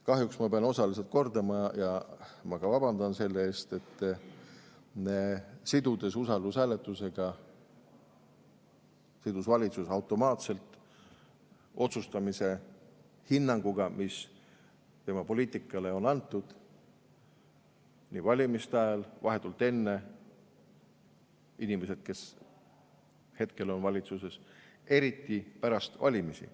Kahjuks ma pean osaliselt kordama ja ma ka vabandan selle eest, et sidudes usaldushääletusega, sidus valitsus automaatselt otsustamise hinnanguga, mis tema poliitikale on antud, nii valimiste ajal, vahetult enne, inimesed, kes hetkel on valitsuses, eriti pärast valimisi.